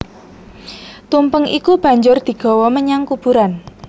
Tumpeng iku banjur digawa menyang kuburan